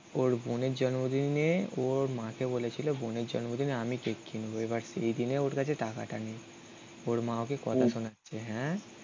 ওর বোনের জন্মদিনে ওর মাকে বলেছিল বোনের জন্মদিনে আমি কেক কিনবো. এবার সেদিনে ওর কাছে টাকাটা নেই. ওর মা ওকে কথা শোনাচ্ছে. হ্যা?